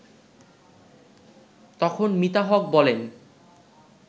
তখন মিতা হক বলেন